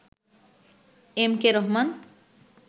M K Rahman